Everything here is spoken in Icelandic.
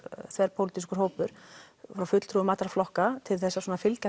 þverpólitískur hópur frá fulltrúm allra flokka til að fylgja